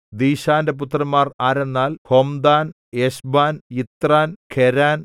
ദീശാന്റെ പുത്രന്മാർ ആരെന്നാൽ Hemdan Eshban Ithran Cheran